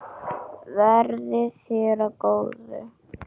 Verði þér að góðu.